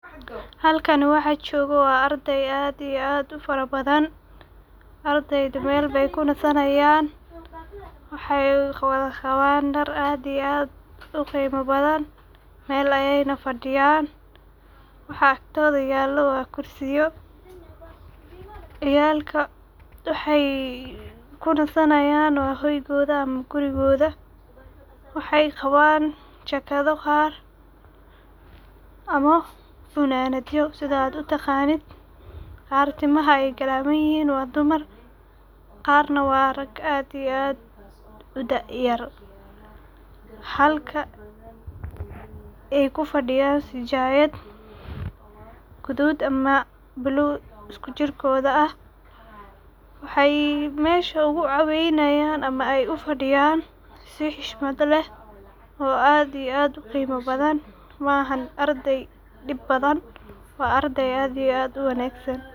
Halkan waxa joga waa arday aad iyo aad u fara badan, ardayda meel ay kunasanayan waxay wadha qawan dhar aad iyo aad u qimo badan mel ayey fadiyan ,waxa agtoda yala waa kursiyal, ciyalka waxey kunasanayan hoygoda ama gurigoda .Waxey qawan jakado ama funanadyo sidha aad u taqanid ,qaar timaaha ay galaman yihin waa dumar ,qarna waa rag aad u daa yar ,halka ay kufadiyan sijayad gadud ama balug ah jirkoda ,mesha ugu caweynayan ama u fadiyan si xushmad leh oo aad iyo aad u qimo badan maahan ardey dib badan waa ardey aad iyo aad u wanagsan.